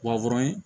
Wa wɔɔrɔ in